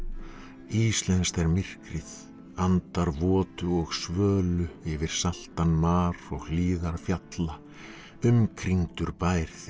íslenskt er myrkrið andar og svölu yfir saltan mar og hlíðar fjalla umkringdur bær þinn